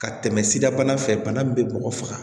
Ka tɛmɛ sida bana fɛ bana min bɛ mɔgɔ faga